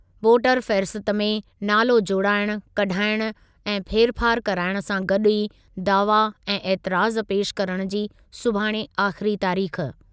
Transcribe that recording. Voter फ़हरिस्त में नालो जोड़ाइण, कढाइण ऐं फेरफार कराइण सां गॾु ई दावा ऐं एतिराज़ पेशि करणु जी सुभाणे आख़िरी तारीख़।